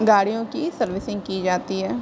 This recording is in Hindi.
गाड़ियों की सर्विसिंग की जाती है।